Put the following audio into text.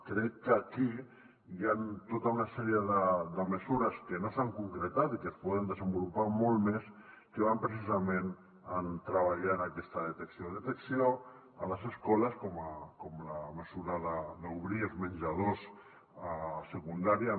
crec que aquí hi han tota una sèrie de mesures que no s’han concretat i que es poden desenvolupar molt més que van precisament de treballar en aquesta detecció detecció a les escoles com la mesura d’obrir els menjadors a secundària